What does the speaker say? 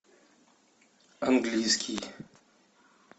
английский